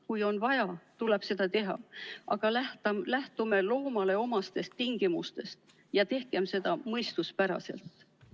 Kui on vaja, tuleb seda teha, aga lähtume loomale omastest tingimustest ja tehkem seda mõistuspäraselt.